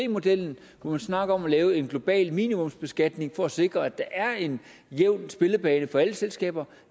modellen hvor man snakker om at lave en global minimumsbeskatning for at sikre at der er en jævn spillebane for alle selskaber